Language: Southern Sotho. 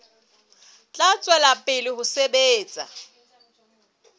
tla tswela pele ho sebetsa